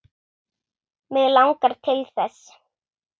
Mig langar til þess.